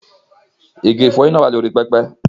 Igi ìfọyín náà wà lórí pẹpẹ.